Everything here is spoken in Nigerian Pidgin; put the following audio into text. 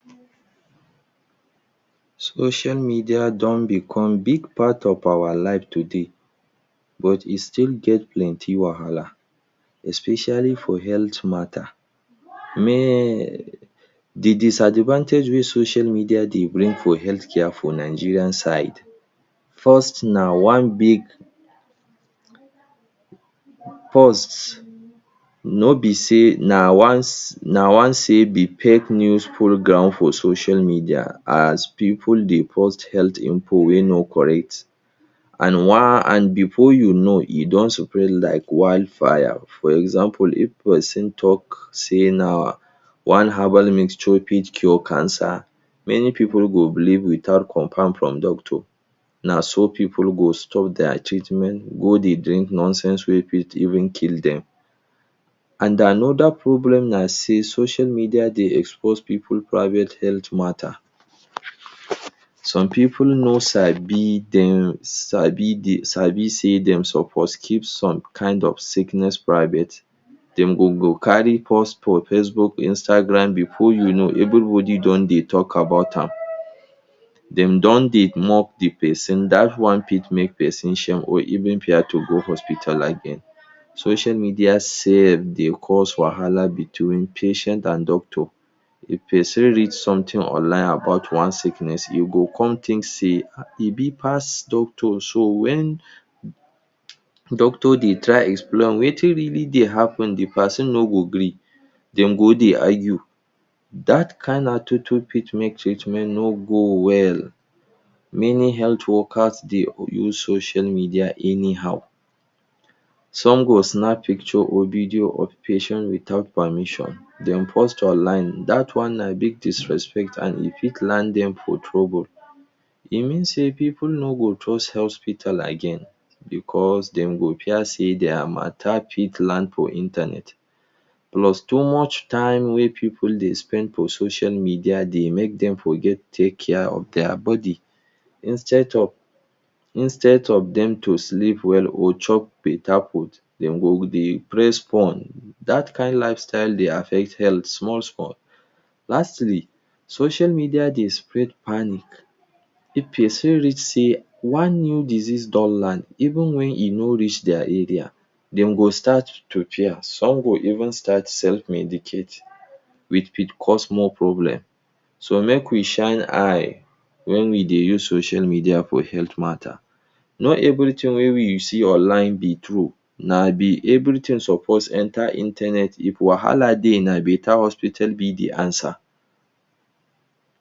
Social media don become big part of awa life today, but e still get plenty wahala, especially for health mata. De disadvantage wey social media dey bring for healthcare for Nigerian side, first, na one big, first no be sey na ones, na one sey de fake news full ground for social media as pipu dey post health info wey no correct. And one and before you know e don spread like wildfire. For example, If pesin talk say na one herbal mixture fit cure cancer, many pipu go believe without confam from doctor. Na so pipu go stop dia treatment go dey drink nonsense wey fit even kill dem. And another problem na sey social media dey expose pipu private health mata. Some pipu no sabi dem sabi sabi sey dem suppose keep some kind of sickness private. Dem go go carry post for Facebook, Instagram. Before you know, everybody don dey talk about am, dem don dey mock the pesin. Dat one fit make pesin shame or even fear to go hospital again. Social media sef dey cause wahala between patient and doctor. If pesin read something online about one sickness, e go come think sey um e big pass doctor. So wen doctor dey try explain wetin really dey happen, the pesin no go gree, dem go dey argue. Dat kind attitude fit make treatment no go well. Many health workers dey use social media anyhow. Some go snap picture or video of patient without permission, dem post online. Dat one na big disrespect and e fit land dem for trouble. E mean sey pipu no go trust hospital again because dem go fear sey dia mata fit land for internet. Plus too much time wey pipu dey spend for social media dey make dem forget take care of dia body. Instead of instead of dem to sleep well or chop better food, dem go dey press phone. Dat kind lifestyle dey affect health small small. Lastly, social media dey spread panic. If pesin read sey one new disease don land, even when e no reach dia area, dem go start to fear. Some go even start self medicate wey fit cause more problem. So, make we shine eye when we dey use social media for health mata. No everything wey you see online be true. na be everything suppose enter internet. If wahala dey now, na better hospital be de answer.